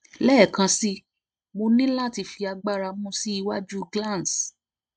lẹẹkansi mo ni lati fi agbara mu si iwaju glans